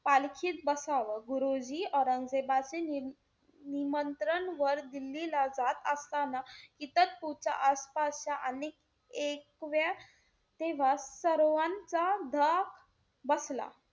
पालखीत बसावं. गुरुजी औरंगजेबाचे निमंत्रण वर दिल्लीला जात असताना कित्तरपूरच्या आसपासच्या, अनेक एक तेव्हा सर्वांचा धाक बसला.